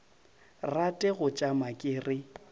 rate go tšama ke re